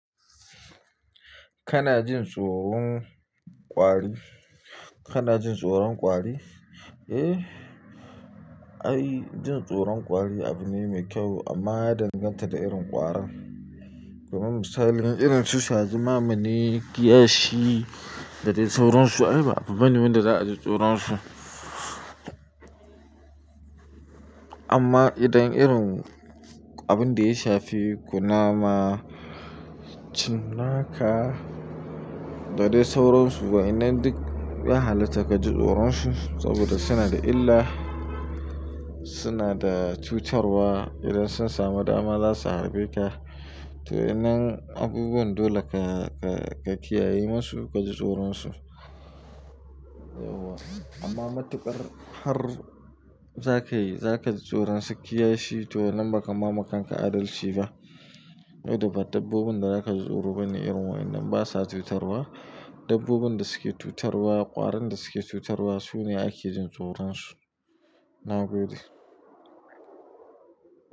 Kana jin tsoron ƙwari? Kana jin tsoron ƙwari? Eh, ai jin tsoron ƙwari abune mai kyau, amma ya danganta da irin ƙwarar. Domin misali, irin su shazuma mine, kiyashi da dai sauransu ai ba abubuwan da za a ji tsoron su. Amma idan irin abin da ya shafi kunama, cinnaka da dai sauransu, wa'inan duk ya halatta ka ji tsoron su, saboda suna da illa, suna da cutarwa idan sun samu dama za su harbe ka. To wa'nnan abubuwan dole ka, ka kiyaye masu, ka ji tsoron su. Amma matukar har za ka yi, za ka ji tsoron su kiyashi, to wannan ba kama ma kanka adalci ba. Saboda ba dabbobin da za ka ji tsoro bane irin wa'inan, basa cutarwa. Dabbobin da suke cutarwa, ƙwarin da suke cutarwa sune ake jin tsoron su. Na gode.